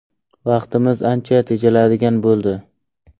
Vaqtimiz ancha tejaladigan bo‘ldi.